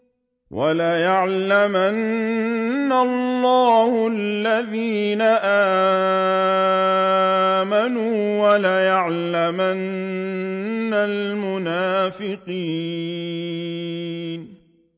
وَلَيَعْلَمَنَّ اللَّهُ الَّذِينَ آمَنُوا وَلَيَعْلَمَنَّ الْمُنَافِقِينَ